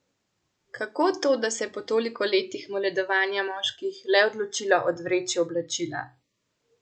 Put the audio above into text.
Kako to, da se je po toliko letih moledovanja moških le odločila odvreči oblačila?